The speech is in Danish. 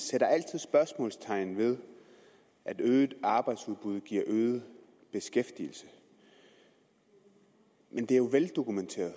sætter altid spørgsmålstegn ved at øget arbejdsudbud giver øget beskæftigelse men det er jo veldokumenteret